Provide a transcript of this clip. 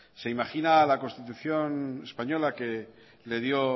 se imagina a la constitución española que le dio